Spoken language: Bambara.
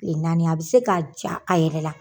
Tile naani a bɛ se k'a ja a yɛrɛ la